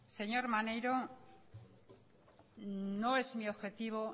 señor maneiro no es mi objetivo